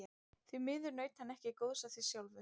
Því miður naut hann ekki góðs af því sjálfur.